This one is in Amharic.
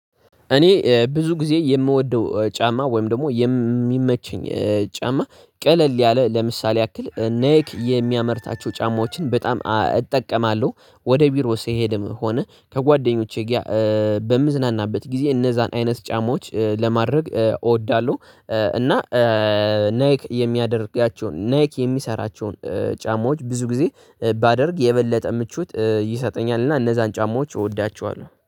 እኔ ብዙ ጊዜ የምወደው ጫማ ወይም ደግሞ የሚመቸኝ ጫማ ቀለል ያለ ለምሳሌ ያክል ኔክ የሚያመርታቸው ጫማዎችን በጣም እጠቀማለሁ ወደ ቢሮ ስሄድም ሆነ ጋር በምዝናናበት ጊዜ እነዛን አይነት ጫማዎች ለማድረግ እወዳለሁ። እና ናክ የሚያደርጋቸውን ናክ የሚሰራቸውን ጫማዎች ብዙ ጊዜ ባደርግ የበለጠ ምቾት ይሰጠኛልና እነዛን ጫማዎች እወዳቸዋለሁ